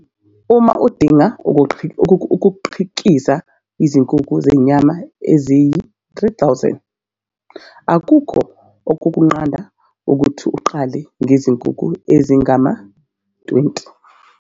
Uma udinga ukukhiqiza izinkukhu zenyama eziyizi-3 000, akukho okukunqanda ukuthi uqale ngezinkukhu ezingama-20.